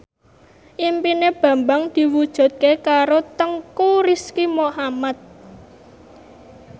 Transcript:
impine Bambang diwujudke karo Teuku Rizky Muhammad